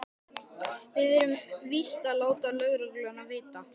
Við verðum víst að láta lögregluna vita.